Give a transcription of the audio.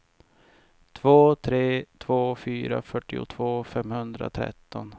två tre två fyra fyrtiotvå femhundratretton